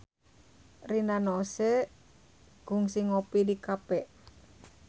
Rina Nose kungsi ngopi di cafe